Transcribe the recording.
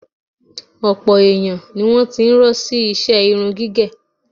Ọ̀pọ̀ èèyàn ni wọ́n ti ń rọ́ sí iṣẹ irun gígẹ̀